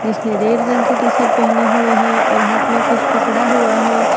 इसने रेड रंग की टी शर्ट पहेने हुए है और हाथ में कुछ पकड़ा हुआ है।